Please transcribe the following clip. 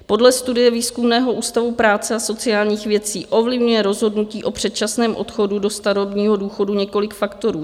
Podle studie Výzkumného ústavu práce a sociálních věcí ovlivňuje rozhodnutí o předčasném odchodu do starobního důchodu několik faktorů.